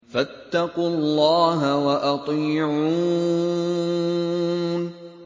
فَاتَّقُوا اللَّهَ وَأَطِيعُونِ